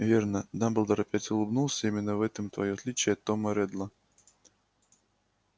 верно дамблдор опять улыбнулся именно в этом твоё отличие от тома реддла